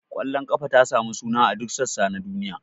Ƙwallon kafa ta yi suna a duk sassa na duniya.